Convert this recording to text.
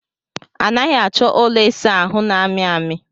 A naghị achọ ụlọ ịsa ahụ na-amị amị.